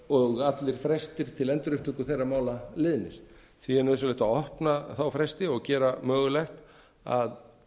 og allir frestir til endurupptöku þeirra mála liðnir því er nauðsynlegt að opna þá fresti og gera mögulegt að